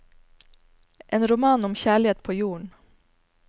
En roman om kjærlighet på jorden.